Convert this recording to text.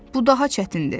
Bu daha çətindir.